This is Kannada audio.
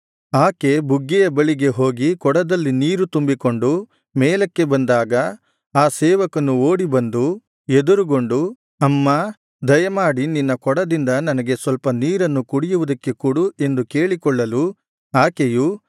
ಆಕೆ ಬುಗ್ಗೆಯ ಬಳಿಗೆ ಹೋಗಿ ಕೊಡದಲ್ಲಿ ನೀರು ತುಂಬಿಕೊಂಡು ಮೇಲಕ್ಕೆ ಬಂದಾಗ ಆ ಸೇವಕನು ಓಡಿಬಂದು ಎದುರುಗೊಂಡು ಅಮ್ಮಾ ದಯಮಾಡಿ ನಿನ್ನ ಕೊಡದಿಂದ ನನಗೆ ಸ್ವಲ್ಪ ನೀರನ್ನು ಕುಡಿಯುವುದಕ್ಕೆ ಕೊಡು ಎಂದು ಕೇಳಿಕೊಳ್ಳಲು ಆಕೆಯು